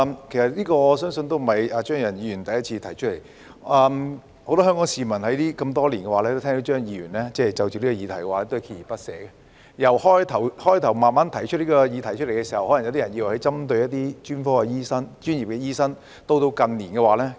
這不是張宇人議員第一次提出類似議案，很多香港市民多年來都聽到張議員就此議題鍥而不捨，剛開始提出這項議題時，可能有人以為他針對專業醫生，到了近年已有改變。